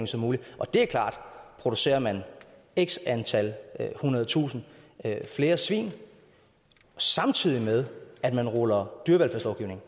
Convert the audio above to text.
som muligt og det er klart producerer man x antal hundredetusinde flere svin samtidig med at man ruller dyrevelfærdslovgivningen